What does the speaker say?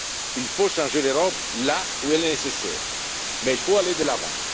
Il faut changer l'Europe là où cela est nécessaire mais il faut aller de l'avant.